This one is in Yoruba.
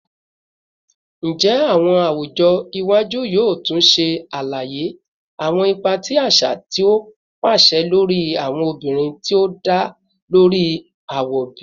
Njẹ awọn awujọ iwaju yoo tun ṣe alaye awọn ipa ti aṣa ti o paṣẹ lori awọn obinrin ti o da lori awọ bi?